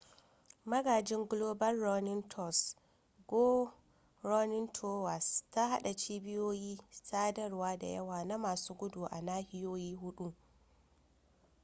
magajin global runnning tours go running towers ta hada cibiyoyi sadarwa da yawa na masu gudu a nahiyoyi hudu